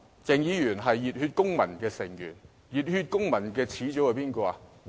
鄭議員是熱血公民的成員，熱血公民的始祖是誰？